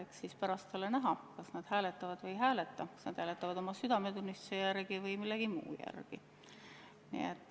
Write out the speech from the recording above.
Eks pärast ole näha, kas nad hääletavad poolt või ei hääleta, kas nad hääletavad oma südametunnistuse järgi või millegi muu järgi.